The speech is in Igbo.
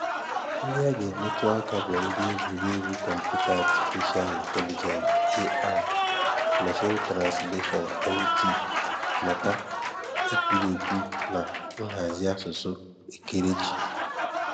Ndị a ga-emetụ aka bụ egwuregwu kọmputa, Atịfisha Ịntelịgensị (AI), mashiin transleshọn (MT), mmata ekwurekwu na nhazi asụsụ ekerechi